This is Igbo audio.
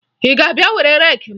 Ị ga-abịa were reeki m?